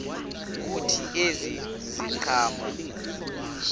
kuthi ezi ziqhamo